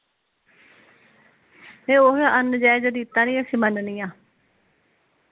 ਤੇ ਉਹੋ ਅਨ ਨਜੇਜ ਰੀਤਾ ਨੀ ਅਸੀਂ ਮਨਨਿਆਂ